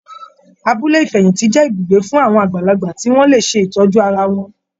Abúlé Ìfẹ̀yìntì jẹ́ ibùgbé fún àwọn àgbàlagbà tí wọ́n lè ṣe ìtọ́jú ara wọn.